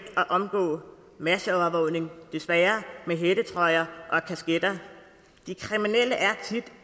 at omgå masseovervågning desværre med hættetrøjer og kasketter de kriminelle er tit